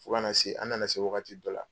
Fo kana na se, an nana se wagati dɔ la